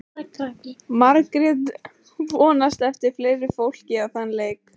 Margrét vonast eftir fleira fólki á þann leik.